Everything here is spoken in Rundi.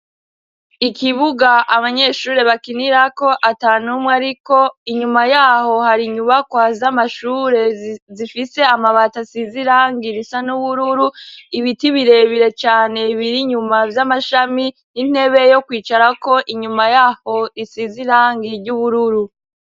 Ikibuga abanyeshuri bakinirako ata numwe ari ko inyuma yaho hari inyubakwa z'amashure zifise amabata asizirangira isa n'ubururu ibiti birebire cane bbiri inyuma vy'amashami n'intebe yo kwicarako inyuma yaho risizirangi ry'ubururu.